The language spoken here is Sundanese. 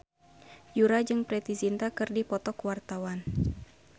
Yura jeung Preity Zinta keur dipoto ku wartawan